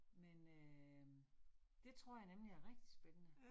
Men øh. Det tror jeg nemlig er rigtig spændende